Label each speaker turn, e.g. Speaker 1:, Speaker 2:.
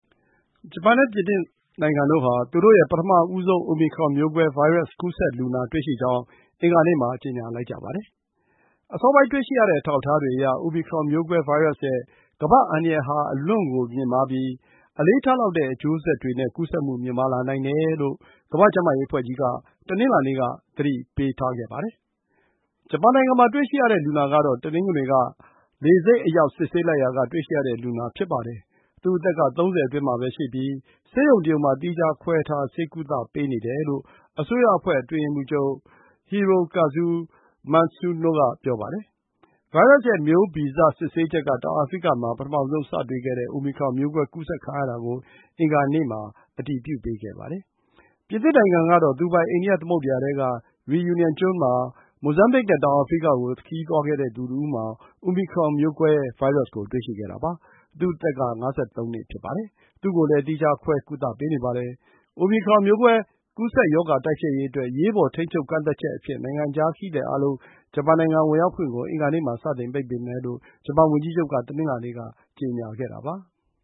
Speaker 1: ဂျပန်နဲ့ ပြင်သစ်နိုင်ငံတို့ဟာ သူတို့ရဲ့ပထမဆုံး အိုမီခရွန် မျိုးကွဲဗိုင်းရပ်စ် ကူးစက်လူနာ တွေ့ရှိကြောင်း အင်္ဂါနေ့မှာ ကြေညာလိုက်ကြပါတယ်။ အစောပိုင်း တွေ့ရှိရတဲ့ အထောက်အထားတွေအရ အိုမီခရွန် မျိုးကွဲဗိုင်းရပ်ရဲ့ ကမ္ဘာ့ အန္တရာယ်ဟာ အလွန့်ကိုမြင့်မားပြီး အလေးထားလောက်တဲ့ အကျိုးဆက်တွေနဲ့ ကူးစက်မှုမြင့်လာနိုင်တယ်လို့ ကမ္ဘာ့ကျန်းမာရေးအဖွဲ့ကြီးက တနင်္လာနေ့က သတိပေးထားပါတယ်။ ဂျပန်နိုင်ငံမှာတွေ့ရှိရတဲ့လူနာကတော့ တနင်္ဂနွေနေ့က လေဆိပ်အရောက် စစ်ဆေးလိုက်ရာက တွေ့ရှိရတဲ့လူနာ ဖြစ်ပါတယ်။ သူ့အသက်က ၃၀ အတွင်းမှာရှိပြီး ဆေးရုံတရုံ မှာ သီးခြားခွဲထား ဆေးကုသပေးနေတယ်လို့ အစိုးရအဖွဲ့ အတွင်းရေးမှူးချုပ် Hirokazu Matsuno က ပြောပါတယ်။ ဗိုင်းရပ်ရဲ့မျိုးဗီဇ စစ်ဆေးချက်က တောင်အာဖရိကမှာ ပထမဆုံး စတွေ့ခဲ့တဲ့ အိုမီခရွန် မျိုးကွဲကူးစက်ခံခဲ့ရတာကို အင်္ဂါနေ့မှာ အတည်ပြုပေးပါတယ်။ ပြင်သစ်နိုင်ငံကတော့ သူပိုင် အိန္ဒိယသမုဒ္ဒရာထဲက Reunion ကျွန်းမှာ မိုဇမ်ဘစ်နဲ့ တောင်အာဖရိကကို ခရီးသွားခဲ့တဲ့သူတဦးမှာ အိုမီခရွန် မျိုးကွဲဗိုင်းရပ်စ်ကို တွေ့ရှိခဲ့တာပါ။ သူ့အသက်က ၅၃ နှစ် ဖြစ်ပါတယ်။ သူ့ကိုလည်း သီးခြားခွဲထားကုသပေးနေပါတယ်။ အိုမီခရွန်မျိုးကွဲကူးစက်ရောဂါ တိုက်ဖျက်ရေးအတွက် အရေးပေါ် ထိန်းချုပ် ကန့်သတ် ချက်အဖြစ် နိုင်ငံခြားခရီးသည်အားလုံး ဂျပန်နိုင်ငံ ဝင်ရောက်ခွင့်ကို အင်္ဂါနေ့မှာ စတင် ပိတ်ပင်မယ်လို့ ဂျပန်ဝန်ကြီးချုပ်က တနင်္လာနေ့ က ကြေညာခဲ့တာပါ။